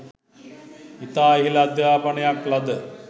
ඉතා ඉහළ අධ්‍යාපනයක් ලද